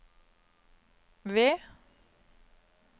V